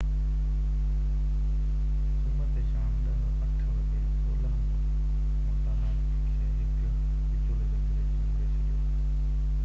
سومر تي شام 10:08 وڳي اولهه مونٽانا کي هڪ وچولي زلزلي جهنجهوڙي ڇڏيو